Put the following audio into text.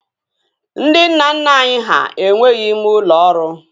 Ndị nna nna anyị ha enweghị ime ụlọ ọrụ